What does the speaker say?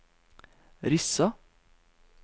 Rissa